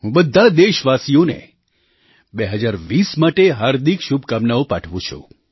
હું બધા દેશવાસીઓને 2020 માટે હાર્દિક શુભકામનાઓ પાઠવું છું